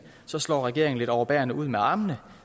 slår regeringen lidt overbærende ud med armene